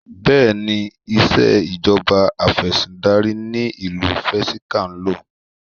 Bẹ́ẹ̀ni, ìṣèjọba Afẹ̀sìndarí ni ìlú Vatican ń lò.